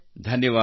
ಧನ್ಯವಾದ